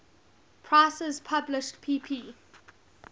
prices published pp